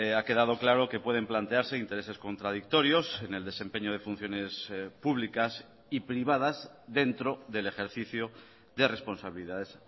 ha quedado claro que pueden plantearse intereses contradictorios en el desempeño de funciones públicas y privadas dentro del ejercicio de responsabilidades